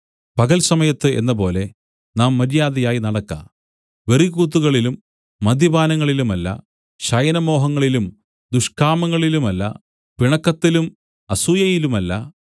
പകൽ സമയത്ത് എന്നപോലെ നാം മര്യാദയായി നടക്ക വെറിക്കൂത്തുകളിലും മദ്യപാനങ്ങളിലുമല്ല ശയനമോഹങ്ങളിലും ദുഷ്കാമങ്ങളിലുമല്ല പിണക്കത്തിലും അസൂയയിലുമല്ല